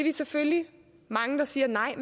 er selvfølgelig mange der siger nej